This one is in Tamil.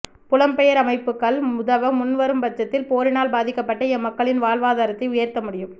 புலம்பெயர் அமைப்புக்கள் உதவ முன்வரும் பட்சத்தில் போரினால் பாதிக்கப்பட்ட எம்மக்களின் வாழ்வாதாரத்தை உயர்த்தமுடியும்